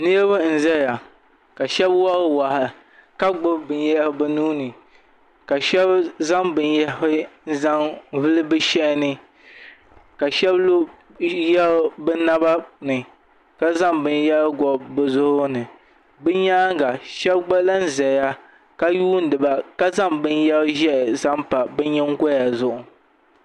Niraba n ʒɛya ka shab wori waa ka gbubi binyɛra bi nuuni ka shab zaŋ binyahari n zaŋ vuli bi shaha ni ka shab lo yaɣu bi naba ni ka zaŋ binyɛra gobi bi zuɣu ni bi nyaanga shab gba lahi ʒɛya ka yuundiba ka zaŋ binyɛri ʒiɛ zaŋ pa bi nyingoya zuɣu